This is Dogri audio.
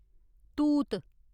तूत